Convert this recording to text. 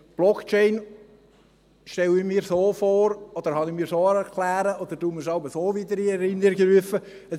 Blockchain stelle ich mir so vor, habe ich mir so erklären müssen oder rufe ich mir jeweils so wieder in Erinnerung: